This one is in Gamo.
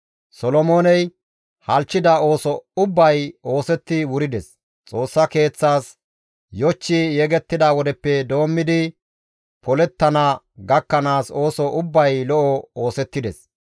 Solomooney halchchida ooso ubbay oosetti wurides; Xoossa Keeththaas yochchi yegettida wodeppe doommidi, polettana gakkanaas ooso ubbay lo7o oosettides.